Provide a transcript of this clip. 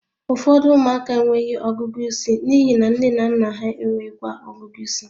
Ụfọdụ ụmụaka enweghị ọgụgụ isi n'ihi na nne na nna ha enweghịkwa ọgụgụ ịsị